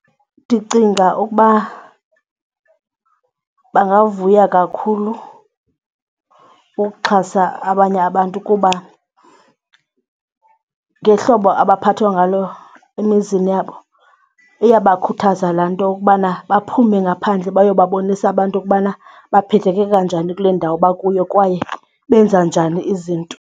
Ndicinga ukuba bangavuya kakhulu ukuxhasa abanye abantu kuba ngehlobo abaphathwa ngalo bantu emizini yabo iyabakhuthaza laa nto ukubana baphume ngaphandle bayobabonisa abantu okubana baphetheke kanjani kule ndawo bakuyo kwaye benza njani izinto.